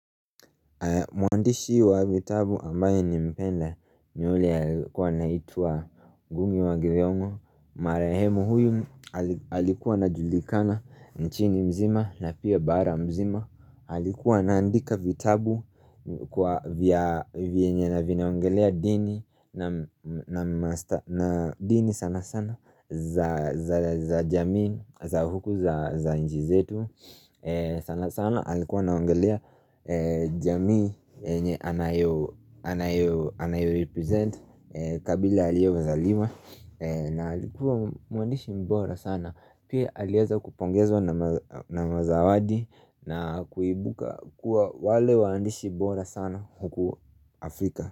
Mwandishi wa vitabu ambaye nimpenda ni yule kwa anaitwa gungi wa githong'o Marehemu huyu alikuwa anajulikana nchini mzima na pia bara mzima Alikuwa anaandika vitabu kwa vienye na vinaongelea dini na dini sana sana za jamii za huku za nji zetu sana sana alikuwa anaongelea jamii yenye anayorepresent kabila aliozaliwa na alikuwa muandishi mbora sana Pia alieza kupongezwa na mazawadi na kuibuka kuwa wale waandishi bora sana huku Afrika.